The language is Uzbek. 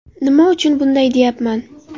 Nima uchun bunday deyapman?